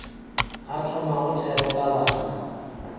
a thomago thero ka bana